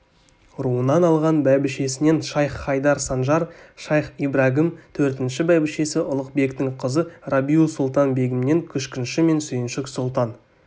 руынан алған бәйбішесінен шайх-хайдар санжар шайх-ибрагім төртінші бәйбішесі ұлықбектің қызы рабиу-сұлтан-бегімнен күшкінші мен сүйіншік сұлтан